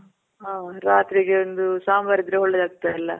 ಹಾ, ರಾತ್ರಿಗ್ ಒಂದು ಸಾಂಬಾರ್ ಇದ್ರೆ ಒಳ್ಳೇದ್ ಆಗುತ್ತೆ ಅಲ್ಲ?